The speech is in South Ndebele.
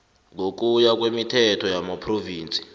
ngokuya kwemithetho yamaphrovinsi